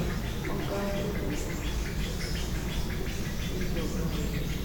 wọ́n ká kẹhìndé mọ́bi tó ti ń bu májèlé sóúnjẹ ọgá rẹ lekòó